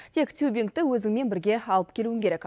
тек тюбингті өзіңмен бірге алып келуің керек